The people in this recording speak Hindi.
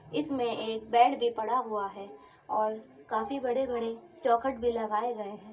इसमें एक बेड़ भी पड़ा हुआ है और काफी बड़े-बड़े चोखट भी लगाए गए हैं।